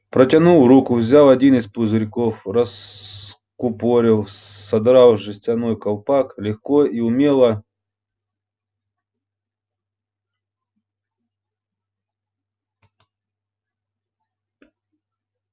протянул руку взял один из пузырьков раскупорил содрав жестяной колпачок легко и умело